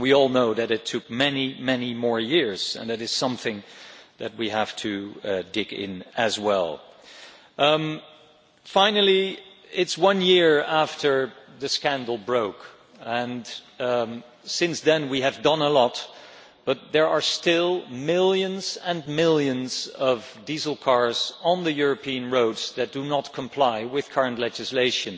we all know that it took many many more years and that is something that we have to dig into as well. Finally, it is one year since the scandal broke and since then we have done a lot, but there are still millions and millions of diesel cars on the European roads that do not comply with current legislation.